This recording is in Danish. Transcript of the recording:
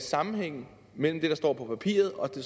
sammenhæng mellem det der står på papiret og det